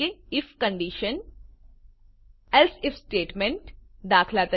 if એલ્સે આઇએફ સ્ટેટમેન્ટ દાત